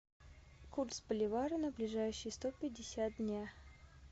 курс боливара на ближайшие сто пятьдесят дня